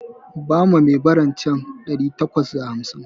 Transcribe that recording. Bawa mai baran can ɗari takwas da hamsin